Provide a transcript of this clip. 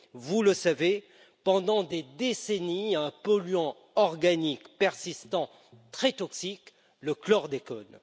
vous le savez, pendant des décennies à un polluant organique persistant très toxique le chlordécone.